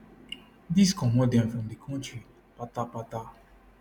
dis comot dem from di kontri patapata